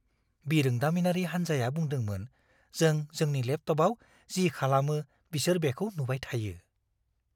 बिरोंदामिनारि हान्जाया बुंदोंमोन जों जोंनि लेपटपआव जि खालामो बिसोर बेखौ नुबाय थायो।